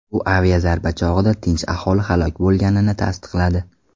U aviazarba chog‘ida tinch aholi halok bo‘lganini tasdiqladi.